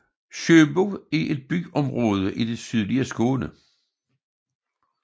Sjöbo er et byområde i det sydlige Skåne